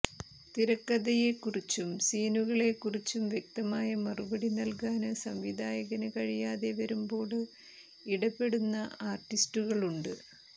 തിരക്കഥയെക്കുറിച്ചും സീനുകളെക്കുറിച്ചും വ്യക്തമായ മറുപടി നല്കാന് സംവിധായകന് കഴിയാതെ വരുമ്പോള് ഇടപെടുന്ന ആര്ട്ടിസ്റ്റുകളുണ്ട്